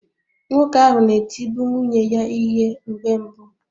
Nwoke ahụ na-etibu nwunye ya ihe mgbe mbụ